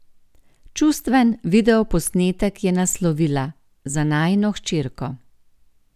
Čustven videoposnetek je naslovila: "Za najino hčerko".